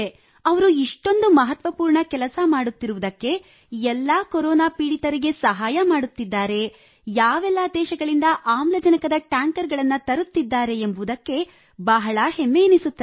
ಅವರು ಇಷ್ಟೊಂದು ಮಹತ್ವಪೂರ್ಣ ಕೆಲಸ ಮಾಡುತ್ತಿರುವುದಕ್ಕೆ ಎಲ್ಲ ಕೊರೊನಾ ಪೀಡಿತರಿಗೆ ಸಹಾಯ ಮಾಡುತ್ತಿದ್ದಾರೆ ಯಾವೆಲ್ಲ ದೇಶಗಳಿಂದ ಆಮ್ಲಜನಕದ ಟ್ಯಾಂಕರ್ ಗಳನ್ನು ತರುತ್ತಿದ್ದಾರೆ ಎಂಬುದಕ್ಕೆ ಬಹಳ ಹೆಮ್ಮೆಯೆನಿಸುತ್ತದೆ